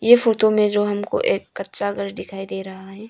ये फोटो में जो हमको एक कच्चा घर दिखाई दे रहा हैं।